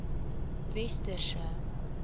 westerse